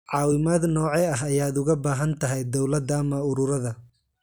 Caawimaad noocee ah ayaad uga baahan tahay dawladda ama ururada?